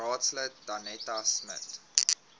raadslid danetta smit